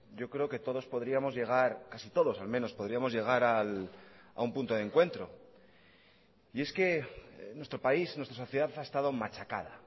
yo creo que todos podríamos llegar casi todos al menos podríamos llegar a un punto de encuentro y es que nuestro país nuestra sociedad ha estado machacada